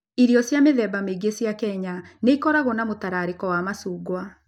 Irio cia mĩthemba mĩingĩ cia Kenya nĩ ikoragwo na mũtararĩko wa macungwa.